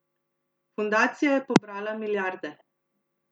Fundacija je pobrala milijarde.